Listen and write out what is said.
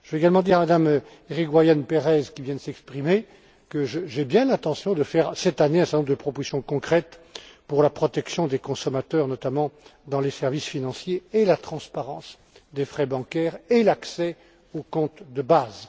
Je vais également dire à Mme Irigoyen Pérez, qui vient de s'exprimer, que j'ai bien l'intention de faire cette année un certain nombre de propositions concrètes pour la protection des consommateurs, notamment, dans les services financiers, pour la transparence des frais bancaires et l'accès aux comptes de base.